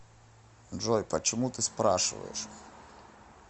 джой почему ты спрашиваешь